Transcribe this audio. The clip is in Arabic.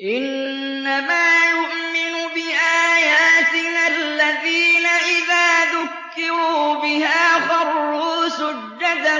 إِنَّمَا يُؤْمِنُ بِآيَاتِنَا الَّذِينَ إِذَا ذُكِّرُوا بِهَا خَرُّوا سُجَّدًا